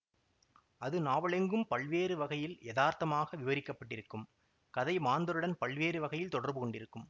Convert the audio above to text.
அது நாவலெங்கும் பல்வேறு வகையில் யதார்த்தமாக விவரிக்கப்பட்டிருக்கும் கதைமாந்தருடன் பல்வேறு வகையில் தொடர்புகொண்டிருக்கும்